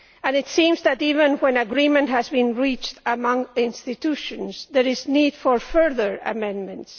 It seems that even when agreement has been reached among institutions there is need for further amendments.